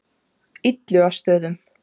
Illugastöðum